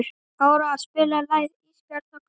Áróra, spilaðu lagið „Ísbjarnarblús“.